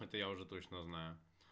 это я уже точно знаю